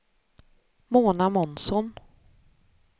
Mona Månsson